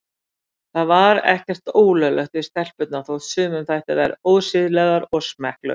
Það var ekkert ólöglegt við stelpurnar þótt sumum þættu þær ósiðlegar og smekklausar.